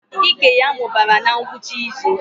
Ike ya mụbara na ngwụcha izu